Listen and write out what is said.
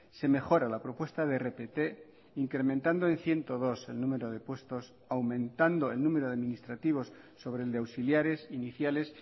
se mejora la propuesta de rpt incrementando en ciento dos el número de puestos aumentando el número de administrativos sobre el de auxiliares iniciales